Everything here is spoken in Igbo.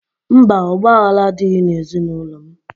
Mba, ọgbaghara adịghị n'ezinaụlọ m.